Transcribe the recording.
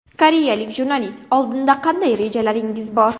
Koreyalik jurnalist: Oldinda qanday rejalaringiz bor?